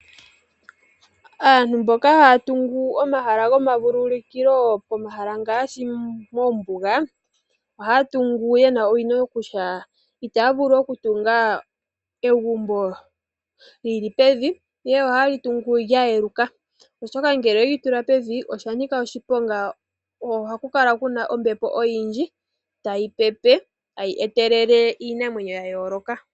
Aantu mboka haa tungu omahala gomavulukilo pomahala ngaashi moombuga ohaa tungu yena owino kutya itaa vulu okutunga egumbo lili pevi ihe oha ye li tungu lya yeluka oshoka ngele oweli tula pevi oshanoka oshiponga ohaku kala kuna ombepo oyindji tayi pepe tayi etelele iinamwenyo ya yooloka.